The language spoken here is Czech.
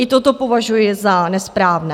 I toto považuji za nesprávné.